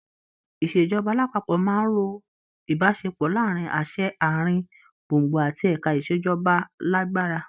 Ìṣèjọba alápapọ̀ máa ró ìbáṣepọ̀ láàrin àṣẹ àárín gbùngbùn àti ẹ̀ka ìṣèjọba lágbára.